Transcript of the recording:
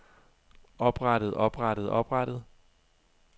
oprettet oprettet oprettet